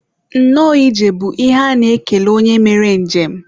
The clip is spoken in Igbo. nnọọ ije bụ ihe a na-ekele onye mere njem